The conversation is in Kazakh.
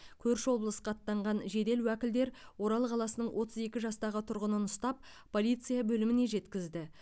көрші облысқа аттанған жедел уәкілдер орал қаласының отыз екі жастағы тұрғынын ұстап полиция бөліміне жеткізді